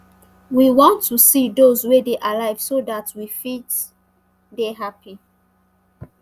we want to see those wey dey alive so dat we fit dey happy